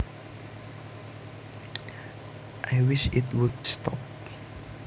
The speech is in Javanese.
I wish it would stop